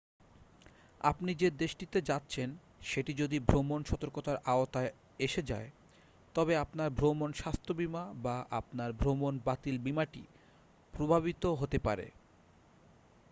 আপনি যে দেশটিতে যাচ্ছেন সেটি যদি ভ্রমণ সতর্কতার আওতায় এসে যায় তবে আপনার ভ্রমণ স্বাস্থ্য বীমা বা আপনার ভ্রমণ বাতিল বীমাটি প্রভাবিত হতে পারে